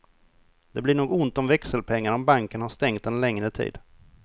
Det blir nog ont om växelpengar om banken har stängt en längre tid.